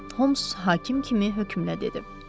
Holms hakim kimi hökmlə dedi.